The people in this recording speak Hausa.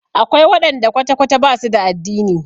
Akwai waɗanda kwata-kwata ba su da addini.